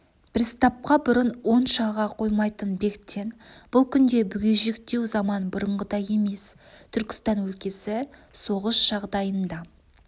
приставқа бұрын онша ыға қоймайтын бектен бұл күнде бүгежектеу заман бұрынғыдай емес түркістан өлкесі соғыс жағдайында